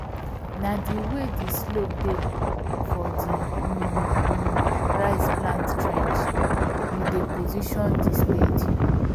na the way the slope dey for the um um rice plant trench we dey position the spade